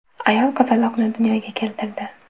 Ayol qizaloqni dunyoga keltirdi.